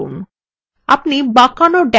cursor পৃষ্ঠায় নিয়ে যান